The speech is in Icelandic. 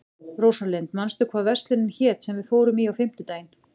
Rósalind, manstu hvað verslunin hét sem við fórum í á fimmtudaginn?